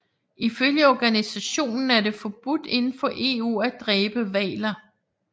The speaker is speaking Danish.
Ifølge organisationen er det forbudt indenfor EU at dræbe hvaler